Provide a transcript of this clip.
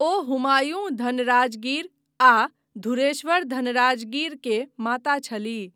ओ हुमायूँ धनराजगीर आ धुरेश्वर धनराजगीर के माता छलीह।